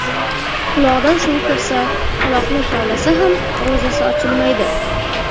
Quloqdan suv kirsa, quloqni kavlasa ham ro‘zasi ochilmaydi.